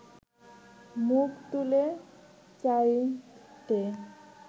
মুখ তুলে চাইতে